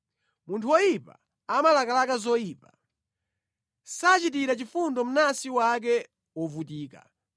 Munthu woyipa amalakalaka zoyipa; sachitira chifundo mnansi wake wovutika.